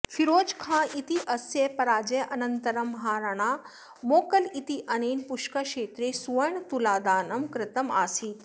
फीरोज खाँ इत्यस्य पराजयानन्तरं महाराणा मोकल इत्येनेन पुष्करक्षेत्रे सुवर्णतुलादानं कृतम् आसीत्